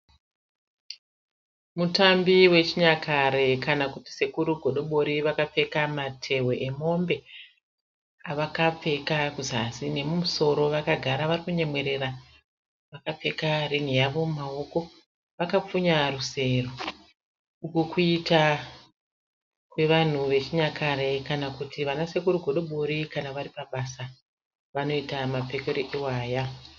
Mutambi wechinyakare kana kuti sekuru godobori vakapfeka matehwe emombe avakapfeka kuzasi nemumusoro. Vakagara varikunyemwerera vakapfeka ringi yavo mumawoko vakapfunya rusero. Uku kuita kwevanhu vechinyakare kana kuti vanasekuru godobori kana varipabasa vanoita mapfekere iwaya.